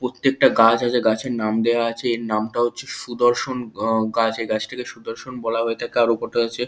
প্রত্যেকটা গাছ আছে। গাছের নাম দেওয়া আছে। এর নামটা হচ্ছে সুদর্শন গাছ। এই গাছটিকে সুদর্শন বলে হয়ে থাকে আর ওপর হচ্ছে।